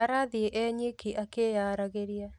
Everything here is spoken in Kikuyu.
Arathiĩ e nyiki akĩyaragĩria